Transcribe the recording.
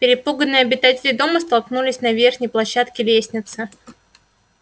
перепуганные обитатели дома столкнулись на верхней площадке лестницы